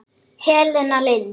Helena Lind.